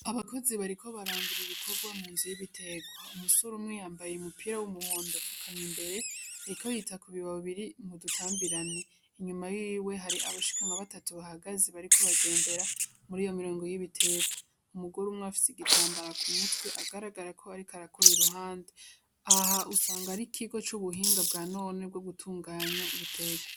Abakozi bariko barangura ibikorwa mu nzu y'ibitegwa, umusore umwe yambaye umupira w'umuhondo afukamye imbere ariko yita ku bibabi biri mu dutambirane, inyuma yiwe hari abashika nka batatu bahagaze bariko bagendera mur'iyo mirongo y'ibitegwa, umugore umwe afise igitambara ku mutwe agaragara ko ariko arakora ku ruhande, aha usanga ari ikigo c'ubuhinga bwa none bwo gutunganya ibitegwa.